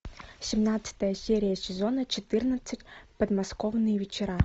семнадцатая серия сезона четырнадцать подмосковные вечера